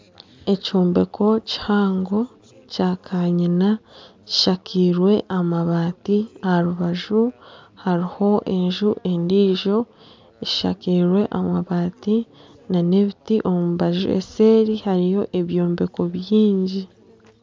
Ekyombeko kihango kya kanyina kishakairwe amabaati aharubaju hariho enju endiijo eshakairwe amabaati nana ebiti omu mbaju eseeri hariyo ebyombeko byingi